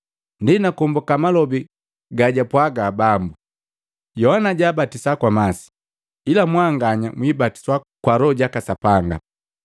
Ndi nakombuka malobi gajwapwaga Bambu, ‘Yohana jabatisa kwa masi, ila mwanganya mwibatiswa kwa Loho jaka Sapanga.’